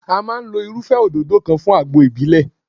A máa lo irúfẹ́ òdòdó kan fún àgbo ìbílẹ̀.